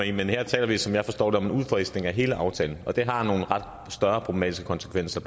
i men her taler vi som jeg forstår det om en udfasning af hele aftalen og det har nogle ret store problematiske konsekvenser